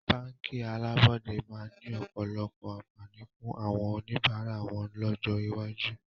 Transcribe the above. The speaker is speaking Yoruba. Báńkì alábọ́dẹ́ máa ni ọ̀pọ̀lọpọ̀ àǹfààní fún àwọn oníbàárà wọn lọ́jọ́ iwájú